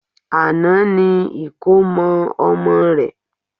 Àná ni ìkómọ ọmọ rẹ̀